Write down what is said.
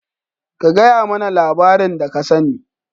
ka gayamana labarin da ka sane.